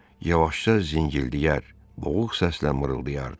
Yavaşca zingildiyər, boğuq səslə mırıldayardı.